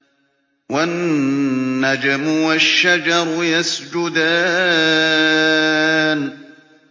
وَالنَّجْمُ وَالشَّجَرُ يَسْجُدَانِ